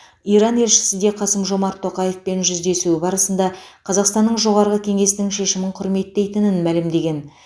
иран елшісі де қасым жомарт тоқаевпен жүздесуі барысында қазақстанның жоғарғы кеңесінің шешімін құрметтейтінін мәлімдеген